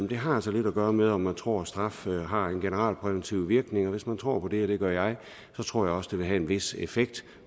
det har altså lidt at gøre med om man tror straf har en generalpræventiv virkning og hvis man tror på det og det gør jeg så tror jeg også det vil have en vis effekt